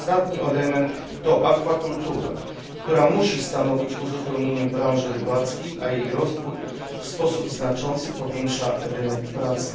Ostatni element to akwakultura, która musi stanowić uzupełnienie branży rybackiej, a jej rozwój w sposób znaczący powiększa rynek pracy.